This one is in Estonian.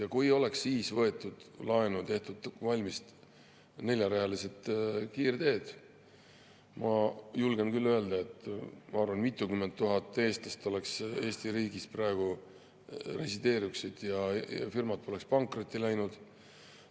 Ja kui oleks siis võetud laenu ja tehtud valmis neljarealised kiirteed, ma julgen küll arvata, et mitukümmend tuhat eestlast resideeruks praegu Eesti riigis ja firmad poleks pankrotti läinud.